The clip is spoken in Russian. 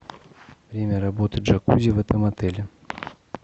время работы джакузи в этом отеле